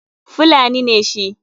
Fulani ne shi.